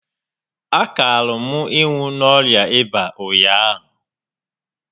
A kaara m ịnwụ n'orịa ịba ụnyaahụ